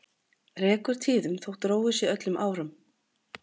Rekur tíðum þó róið sé öllum árum.